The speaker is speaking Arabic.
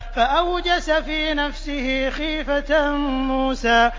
فَأَوْجَسَ فِي نَفْسِهِ خِيفَةً مُّوسَىٰ